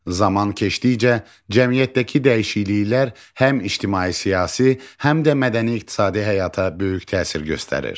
Zaman keçdikcə cəmiyyətdəki dəyişikliklər həm ictimai, siyasi, həm də mədəni-iqtisadi həyata böyük təsir göstərir.